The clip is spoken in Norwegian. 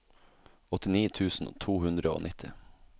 åttini tusen to hundre og nitti